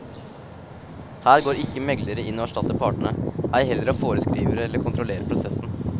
Her går ikke meglere inn og erstatter partene, ei heller og foreskriver eller kontrollerer prosessen.